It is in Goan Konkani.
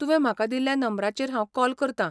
तुवें म्हाका दिल्ल्या नंबराचेर हांव कॉल करता.